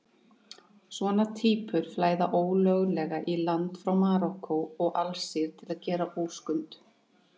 Svona týpur flæða ólöglega í land frá Marokkó og Alsír til að gera óskunda.